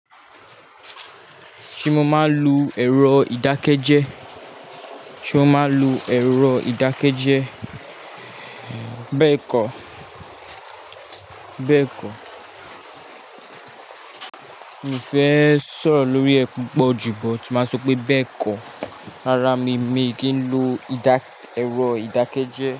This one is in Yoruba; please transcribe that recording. Ṣé mo máa ń lo èrò ìdákẹ́jẹ́? Ṣé o máa ń lo èrò ìdákẹ́jẹ́? Bẹ́ẹ̀kọ̀, bẹ́ẹ̀kọ̀. Mi ò fẹ́ sọ̀rọ̀ lórí ẹe pupọ̀ jù, but máa sọ pé bẹ́ẹ̀kọ̀. Rárá mi, mi kì í lo ìdá, èrò ìdákẹ́jẹ́